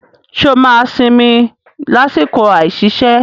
Ṣé o máa sinmi lásìkò àìsiṣẹ́?